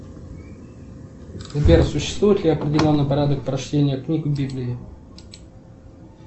сбер существует ли определенный порядок прочтения книг в библии